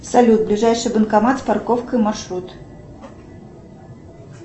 салют ближайший банкомат с парковкой маршрут